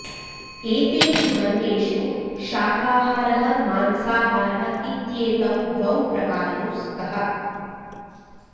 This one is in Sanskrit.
एतेषु वर्गेषु शाकाहारः मांसाहारः इत्येतौ द्वौ प्रकारौ स्तः